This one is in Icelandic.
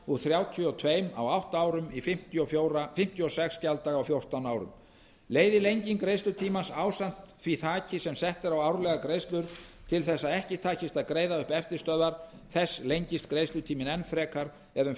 úr þrjátíu og tvö á átta árum í fimmtíu og sex gjalddaga á fjórtán árum leiði lenging greiðslutímans ásamt því þaki sem sett er á árlegar greiðslur til þess að ekki takist að greiða upp eftirstöðvar þess lengist greiðslutíminn enn frekar eða um